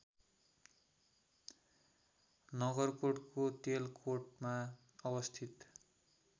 नगरकोटको तेलकोटमा अवस्थित